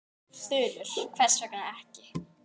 Þulur: Hvers vegna ekki?